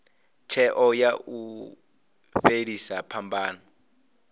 tsheo ya u fhelisa phambano